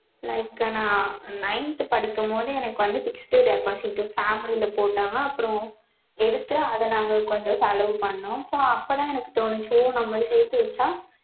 like நா nineth படிக்கும் போது எனக்கு வந்து fixed deposit family ல போட்டாங்க அப்புறம் எடுத்து அத நாங்க கொஞ்சம் செலவு பண்ணுனோம் so அப்போ தான் எனக்கு தோனுச்சு so நம்ம சேத்து வச்சா